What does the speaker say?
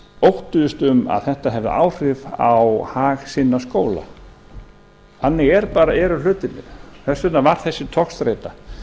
óttuðust um að þetta hefði áhrif á hag sinna skóla þannig eru hlutirnir þess vegna var þessi togstreita